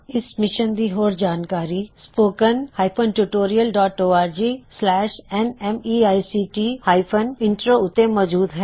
ਇਸ ਮਿਸ਼ਨ ਦੀ ਹੋਰ ਜਾਣਕਾਰੀ spoken hyphen tutorial dot org slash spoken tutorialਓਰਗNMEICT ਹਾਇਫਨ ਇਮਟ੍ਰੋ ਉੱਤੇ ਮੌਜੂਦ ਹੈ